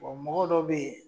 Bon mɔgɔ dɔw be yen